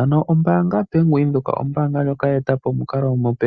Ano ombaanga bank Windhoek oyo ombaanga ndjoka ye eta po omukalo omupe